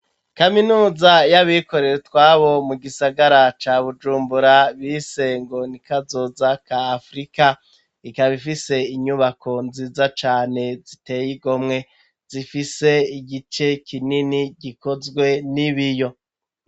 kaminuza y'abikorera utwabo mu gisagara ca Bujumbura bise ngo ni kazoza ka Afrika ikaba ifise inyubako nziza cane ziteye igomwe zifise igice kinini gikozwe n'ibiyo